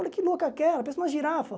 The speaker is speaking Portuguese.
Olha que louca aquela, parece uma girafa.